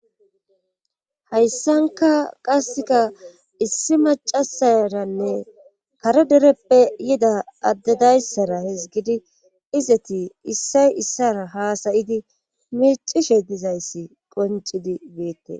hayssanka qaseka issi macasaranne kare dereppe yida addedayssara hezgidi izati issay issara haasayidi micishe dizayssi qoncidi beette